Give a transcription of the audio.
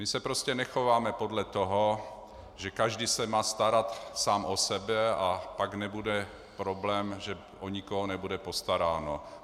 My se prostě nechováme podle toho, že každý se má starat sám o sebe a pak nebude problém, že o nikoho nebude postaráno.